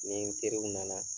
Ni n teriw nana